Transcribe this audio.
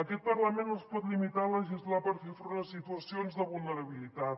aquest parlament no es pot limitar a legislar per fer front a situacions de vulnerabilitat